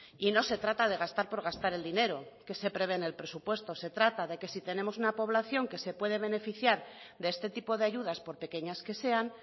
y no se trata de gastar por gastar el dinero que se prevé en el presupuesto se trata de que si tenemos una población que se puede beneficiar de este tipo de ayudas por pequeñas que sean